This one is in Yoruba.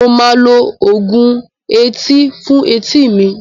Mo máa lo oògùn etí fún etí mi.